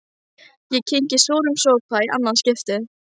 Ég kyngi súrum sopa í annað skipti.